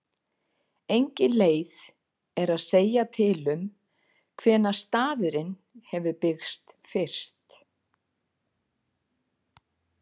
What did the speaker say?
Engin leið er að segja til um hvenær staðurinn hefur byggst fyrst.